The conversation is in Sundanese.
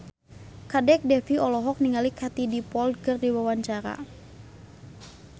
Kadek Devi olohok ningali Katie Dippold keur diwawancara